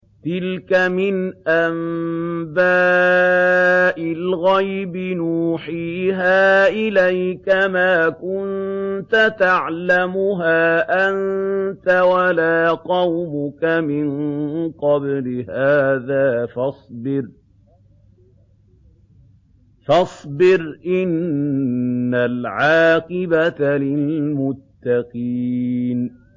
تِلْكَ مِنْ أَنبَاءِ الْغَيْبِ نُوحِيهَا إِلَيْكَ ۖ مَا كُنتَ تَعْلَمُهَا أَنتَ وَلَا قَوْمُكَ مِن قَبْلِ هَٰذَا ۖ فَاصْبِرْ ۖ إِنَّ الْعَاقِبَةَ لِلْمُتَّقِينَ